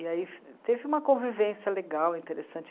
E aí teve uma convivência legal, interessante.